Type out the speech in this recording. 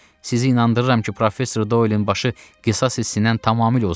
Sizi inandırıram ki, professor Doyelin başı qisas hissindən tamamilə uzaqdır.